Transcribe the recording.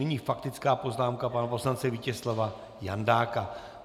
Nyní faktická poznámka pana poslance Vítězslava Jandáka.